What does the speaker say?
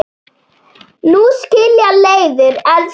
Nú skilja leiðir, elsku amma.